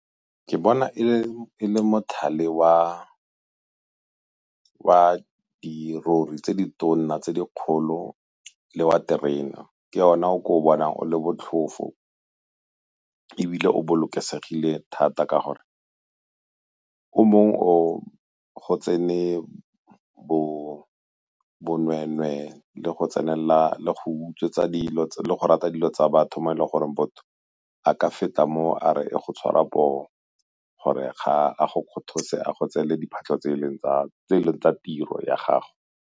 Ke bona e le mothale wa dirori tse di tona tse di kgolo le wa terena ke ona o ke o bonang o le botlhofo ebile o bolokesegile thata ka gore o mongwe o go tsene bonweenwee le go tsenelela le go utswetsa dilo le go rata dilo tsa batho mo e leng gore motho a ka feta mo a re o go tshwarwa poo gore ga a go kgothose a go tseele diphatlho tse e leng tsa tiro ya gago.